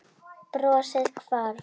Brosið hvarf.